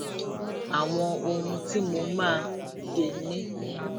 àwọn ohun tí mo máa ń ṣe ní